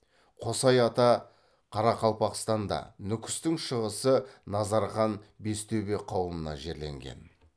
қосай ата қарақалпақстанда нүкістің шығысы назархан бестөбе қауымына жерленген